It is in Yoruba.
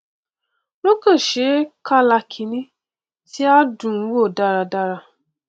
wọn kàn ṣe é kàlákìní tí á dùn ún wò dáradára